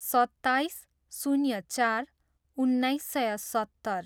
सत्ताइस, शून्य चार, उन्नाइस सय सत्तर